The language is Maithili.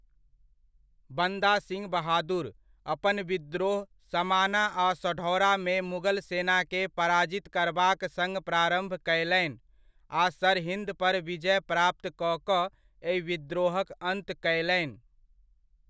बन्दा सिंह बहादुर, अपन विद्रोह समाना आ सढौरामे मुगल सेनाकेँ पराजित करबाक सङ्ग प्रारम्भ कयलनि आ सरहिंदपर विजय प्राप्त कऽ कऽ एहि विद्रोहक अन्त कयलनि।